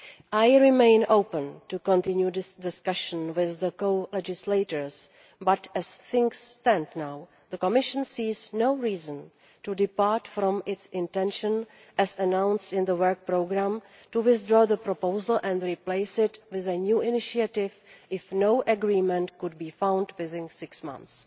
I remain open to continued discussion with the co legislators, but as things stand now the Commission sees no reason to depart from its intention, as announced in the work programme, to withdraw the proposal and replace it with a new initiative if no agreement can be found within six months.